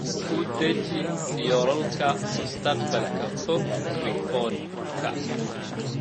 U deji yoolalka mustaqbalka fog rikoorka.